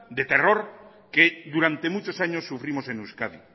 de terror que durante muchos años sufrimos en euskadi